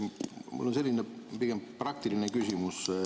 Mul on pigem selline praktiline küsimus.